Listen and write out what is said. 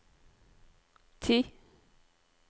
ti